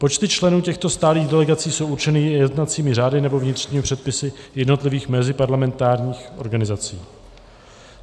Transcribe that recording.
Počty členů těchto stálých delegací jsou určeny jednacími řády nebo vnitřními předpisy jednotlivých meziparlamentních organizací.